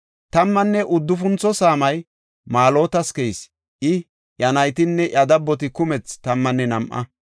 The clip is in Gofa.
Tammanne uddufuntho saamay Maalotas keyis; I, iya naytinne iya dabboti kumethi tammanne nam7a.